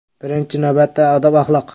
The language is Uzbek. Birinchi navbatda odob-axloq.